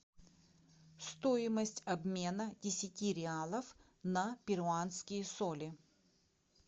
стоимость обмена десяти реалов на перуанские соли